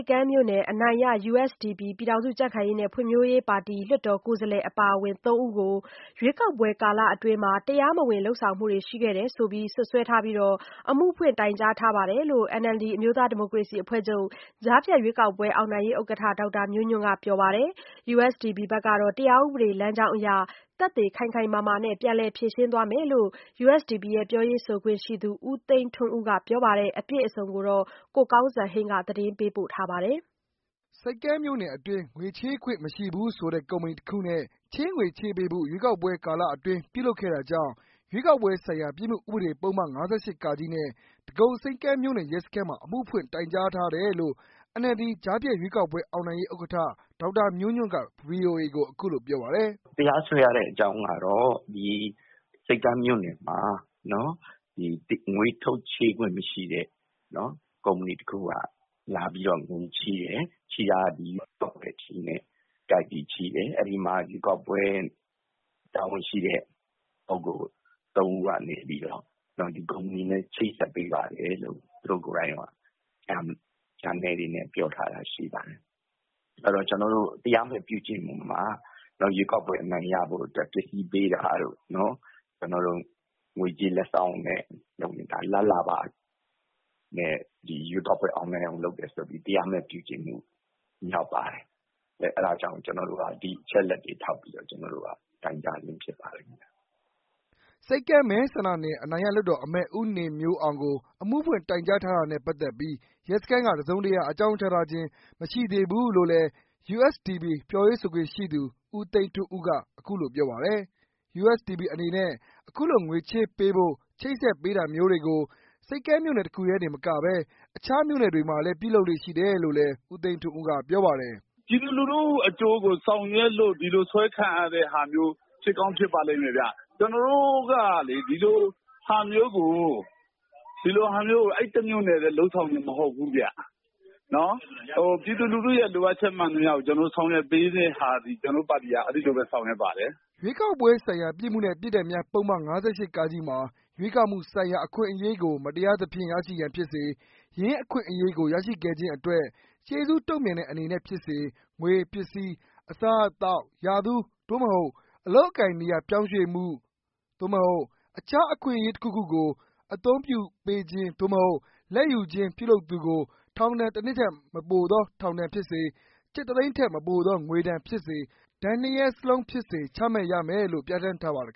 ပ်ကမ်းမြို့နယ် အနိုင်ရ USDP လွှတ်တော် ကိုယ်စားလှယ် အပါအဝင် ၃ဦးကို ရွေးကောက်ပွဲကာလအတွင်း တရားမဝင်လုပ်ဆောင်မှုတွေ ရှိတယ်လို့ စွပ်စွဲပြီး အမှုဖွင့်တိုင်ကြားထားတယ်လို့ NLD ကြားဖြတ်ရွေးကောက်ပွဲ အောင်နိုင်ရေးဥက္ကဌ ဒေါက်တာမျိုးညွန့်ကပြောပါတယ်။ USDP ဘက်ကတော့ တရားဥပဒေ လမ်းကြောင်းအရ သက်သေခိုင်ခိုင်မာမာနဲ့ ပြန်လည်ဖြေရှင်းသွားမယ်လို့ ပြောရေးဆိုခွင့်ရှိသူ ဦးသိန်းထွန်းဦးကပြောပါတယ်။ အပြည့်အစုံကို ကိုကောင်းစံဟိန်းက ပြောပြပေးမှာပါ။ ဆိပ်ကမ်းမြို့နယ်အတွင်း ငွေချေးခွင့် မရှိဘူးဆိုတဲ့ ကုမ္ပဏီတစ်ခုနဲ့ ချေးငွေ ချေးပေးဖို့ ရွေးကောက်ပွဲ ကာလအတွင်း ပြုလုပ်ခဲ့တာကြောင့် ရွေးကောက်ပွဲဆိုင်ရာ ပြစ်မှုဥပဒေ ပုဒ်မ ၅၈ နဲ့ ဒဂုံဆိပ်ကမ်းမြို့နယ် ရဲစခန်းမှာ အမှုဖွင့်တိုင်ကြားထားတယ်လို့ NLD ကြားဖြတ်ရွေးကောက်ပွဲ အောင်နိုင်ရေးဥက္ကဌ ဒေါက်တာမျိုးညွန့်ကပြောပါတယ်။ "တရားစွဲရတဲ့အကြောင်းကတော့ ဆိပ်ကမ်းမြို့နယ်မှာ ငွေချေးခွင့် မရှိတဲ့ ကုမ္ပဏီတစ်ခုက လာပြီးတော့ ငွေချေးတယ်။ အဲဒီမှာ ရွေးကောက်ပွဲ တာဝန်ရှိတဲ့ လူ ၃ ဦးကနေပြီးတော့ ဒီကုမ္ပဏီနဲ့ ချိတ်ဆက်ပေးပါတယ်ဆိုပြီးတော့ ပြောထားတာရှိပါတယ်။ ဆိုတော့ ကျနော်တို့ တရားဥပဒေအရ ရွေးကောက်ပွဲ အနိုင်ရဖို့အတွက် ပစ္စည်းပေးတာတို့ ၊ ငွေကြေးလက်ဆောင် လာဘ်လာဘ နဲ့ ရွေးကောက်ပွဲ အောင်နိုင်အောင် လုပ်တယ်ဆိုပြီး တရားမဲ့ပြုကျင့်တာရောက်ပါတယ်။ အဲဒါကြောင့် ကျနော်တို့က ဒီအချက်အလက်တွေထောက်ပြီးတော့ တိုင်ကြားတာဖြစ်ပါလိမ့်မယ်။" ဆိပ်ကမ်းမဲဆန္ဒနယ် အနိုင်ရလွှတ်တော်အမတ် ဦးနေမျိုးအောင်ကို အမှုဖွင့်တိုင်ကြားထားတာနဲ့ ပက်သက်ပီး ရဲစခန်းက တစ်စုံတစ်ရာ အကြောင်းကြားထားခြင်း မရှိသေးဖူးလို့ USDP ပြောရေးဆိုခွင့် ရှိသူ ဦးသိန်းထွန်းဦးကပြောပါတယ်။ USDP အနေနဲ့ အခုလို ချေးငွေချပေးဖို့ ချိတ်ဆက်ပေးတာမျိုးတွေကို ဆိပ်ကမ်းမြို့နယ်တခုတည်းမကဘဲ မခြားမြို့နယ်တွေမှာလည်း ပြုလုပ်လေ့ရှိတယ်လို့လည်း ဦးသိန်းထွန်းက ပြောပါတယ်။ "ပြည်သူလူထုအကျိုးကို ဆောင်ရွက်လို့ ဒီလိုစွဲခံရတာတွေ ဖြစ်ကောင်းဖြစ်ပါလိမ့်မယ်ခင်ဗျ။ ကျနော်တို့ကလေ ဒီလိုဟာမျိုးကို အဲဒီ တမျို့နယ်ထဲ လုပ်ဆောင်တာမဟုတ်ဘူးခင်ဗျ။ ပြည်သူလူထု လိုအပ်ချက် မှန်သမျှကို ဒီလိုဆောင်ရွက်ပေးတာသည် ကျနော်တို့ ပါတီက အဲလိုပဲဆောင်ရွက်ပါတယ်။" ရွေးကောက်ပွဲဆိုင်ရာ ပြစ်မှု နှင့် ပြစ်ဒဏ်များ ပုဒ်မ ၅၈ မှာ ရွေးကောက်မှုဆိုင်ရာ အခွင့် အရေးကို မတရားသဖြင့် ရရှိရန်ဖြစ်စေ၊ ယင်းအ ခွင့်အရေးကို ရရှိခဲ့ခြင်းအတွက် ကျေးဇူးတုံ့ပြန်သည့်အနေဖြင့် ဖြစ်စေ ငွေ၊ ပစ္စည်း၊ အစားအသောက်၊ ရာထူး အလုပ်အကိုင် နေရာ ပြောင်းရွှေ့မှု အခြား အခွင့်အရေးတစ်ခုခုကို အသုံးပြု လာဘ်ပေးခြင်း လာဘ်ယူခြင်း ပြုလုပ်သူကို ထောင်ဒဏ်တစ်နှစ်ထက် မပိုသော ထောင်ဒဏ်ဖြစ်စေ၊ ကျပ်တစ်သိန်းထက်မပိုသော ငွေ ဒဏ်ဖြစ်စေ၊ ဒဏ်နှစ်ရပ်စလုံးဖြစ် စေ ချမှတ်ရမည်လို့ပြဋ္ဌာန်းထားပါတယ်